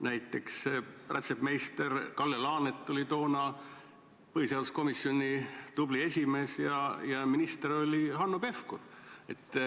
Näiteks rätsepmeister Kalle Laanet oli toona põhiseaduskomisjoni tubli esimees ja minister oli Hanno Pevkur.